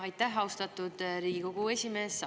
Aitäh, austatud Riigikogu esimees!